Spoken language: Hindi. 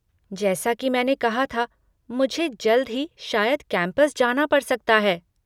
जैसा कि मैंने कहा था, मुझे जल्द ही शायद कैम्पस जाना पड़ सकता है।